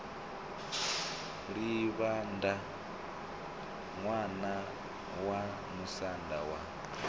livhaṋda ṋwana wa musanda wa